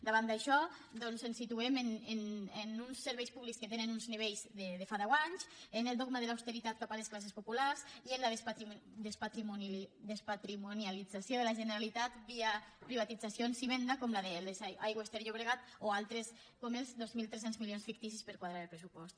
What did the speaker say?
davant d’això doncs ens situem en uns serveis públics que tenen uns nivells de fa deu anys en el dogma de l’austeritat cap a les classes populars i en la despatrimonialització de la generalitat via privatitzacions i vendes com la d’aigües ter llobregat o altres com els dos mil tres cents milions ficticis per quadrar el pressupost